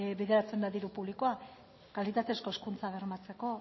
bideratzen da diru publikoa kalitatezko hezkuntza bermatzeko